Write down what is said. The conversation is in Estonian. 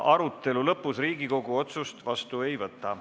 Arutelu lõpus Riigikogu otsust vastu ei võta.